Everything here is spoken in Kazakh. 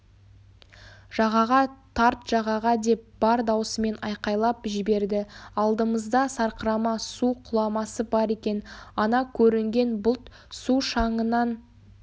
жағаға тарт жағаға деп бар даусымен айқайлап жібердіалдымызда сарқырама су құламасы бар екен ана көрінген бұлт су шаңынан